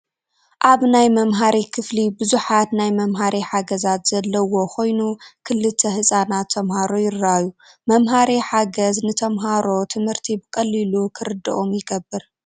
ኣብ ናይ መምሃሪ ክፍሊ ብዙሓት ናይ መምሃሪ ሓገዛት ዘለውዎ ኮይኑ ክልተ ህፃናት ተምሃሮ ይራኣዩ፡፡ መምሃሪ ሓገዝ ንተምሃሮ ትምህርቲ ብቐሊሉ ክርዶኦም ይገብር፡፡